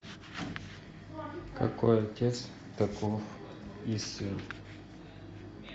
какой отец таков и сын